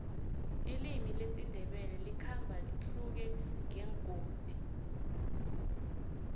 ilimi lesindebele likhamba lihluke ngengodi